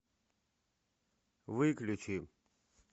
выключи